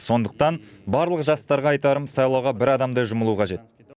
сондықтан барлық жастарға айтарым сайлауға бір адамдай жұмылу қажет